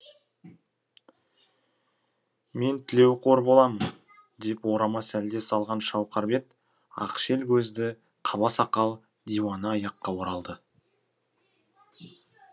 мен тілеуқор боламын деп орама сәлде салған шауқар бет ақшел көзді қаба сақал диуана аяққа оралады